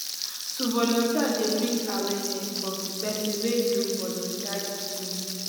to volunteer de bring awearness of the person wey do volunteer di thing